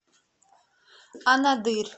анадырь